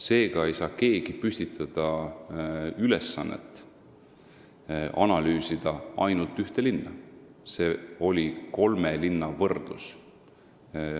Seega ei saanud keegi püstitada ülesannet analüüsida ainult ühte linna – see oli kolme linna võrdlus.